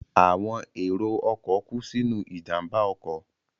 Àwọn èrò ọkọ̀ kú sínú ìjàmbá ọkọ̀